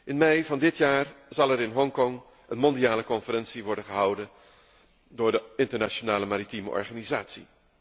In mei van dit jaar zal er in Hongkong een mondiale conferentie worden gehouden door de Internationale Maritieme Organisatie.